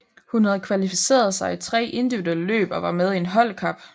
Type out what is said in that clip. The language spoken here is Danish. Hun havde kvalificeret sig i tre individuelle løb og var med i en holdkap